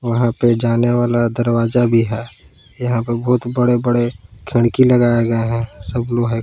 वहां पे जाने वाला दरवाजा भी है यहां पर बहुत बड़े बड़े खिड़की लगाया गया है सब लोहे का--